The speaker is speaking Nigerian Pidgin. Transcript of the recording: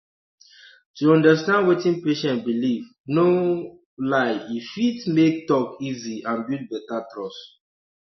to understand wetin patient believe no um lie e fit make talk easy and build better trust